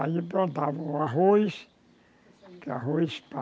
Aí plantavam o arroz, que arroz